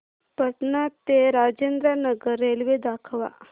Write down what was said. पटणा ते राजेंद्र नगर रेल्वे दाखवा